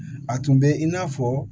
A tun bɛ i n'a fɔ